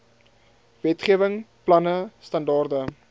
wetgewing planne standaarde